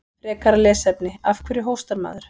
Frekara lesefni: Af hverju hóstar maður?